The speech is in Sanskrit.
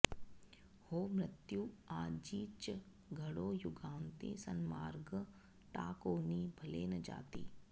हो मृत्यु आजिच घडो युगान्ती सन्मार्ग टाकोनि भले न जाती